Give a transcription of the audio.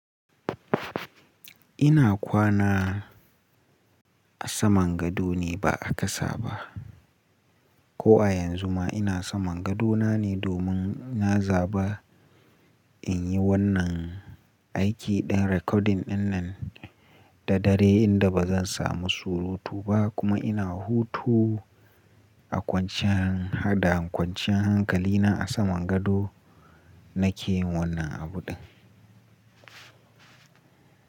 Ina kwana a saman gado ne ba a ƙasa ba. Ko a yanzu ma ina saman gadona ne domin na zaba in yi wannan aiki ɗin recording ɗin nan da dare inda ba zan samu surutu ba kuma ina hutu a kwanciyan haɗa kwanciyan hankali na a saman gado nake yin wannan abu ɗin.